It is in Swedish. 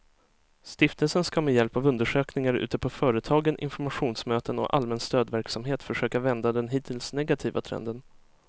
Stiftelsen ska med hjälp av undersökningar ute på företagen, informationsmöten och allmän stödverksamhet försöka vända den hittills negativa trenden.